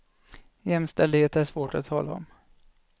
Jämställdhet är svårt att tala om.